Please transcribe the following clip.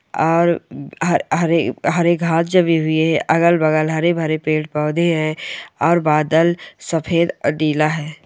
और हर हरे-हरे घास जमे हुए हैं अगल-बगल हरे भरे पेड़ पौधे हैं और बादल सफेद और नीला है।